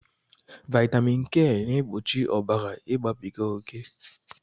Vitamin K na-egbochi ọbara igbabiga oké